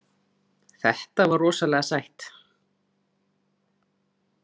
Þetta var rosalega sætt.